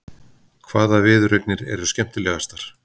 Hvaða viðureignir eru skemmtilegastar?